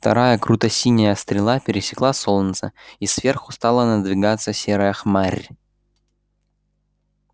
вторая круто-синяя стрела пересекла солнце и сверху стала надвигаться серая хмарь